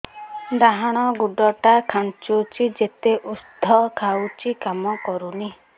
ଡାହାଣ ଗୁଡ଼ ଟା ଖାନ୍ଚୁଚି ଯେତେ ଉଷ୍ଧ ଖାଉଛି କାମ କରୁନି